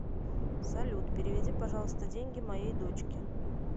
салют переведи пожалуйста деньги моей дочке